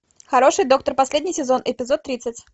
хороший доктор последний сезон эпизод тридцать